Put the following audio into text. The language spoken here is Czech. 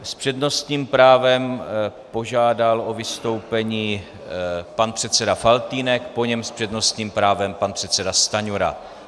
S přednostním právem požádal o vystoupení pan předseda Faltýnek, po něm s přednostním právem pan předseda Stanjura.